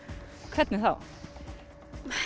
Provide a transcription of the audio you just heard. hvernig þá